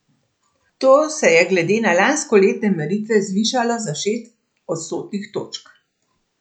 To se je glede na lanskoletne meritve zvišalo za šest odstotnih točk.